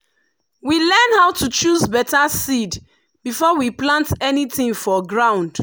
we learn how to choose better seed before we plant anything for ground.